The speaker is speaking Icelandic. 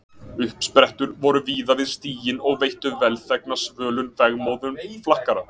Uppsprettur voru víða við stíginn og veittu velþegna svölun vegmóðum flakkara.